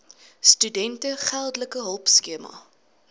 studente geldelike hulpskema